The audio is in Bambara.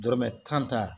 Dɔrɔmɛ tan